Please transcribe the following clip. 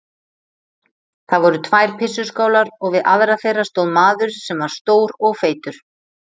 Það voru tvær pissuskálar og við aðra þeirra stóð maður sem var stór og feitur.